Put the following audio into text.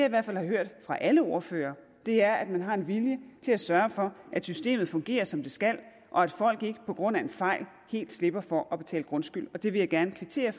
i hvert fald har hørt fra alle ordførere er at man har en vilje til at sørge for at systemet fungerer som det skal og at folk ikke på grund af en fejl helt slipper for at betale grundskyld det vil jeg gerne kvittere